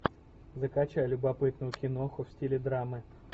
закачай любопытную киноху в стиле драмы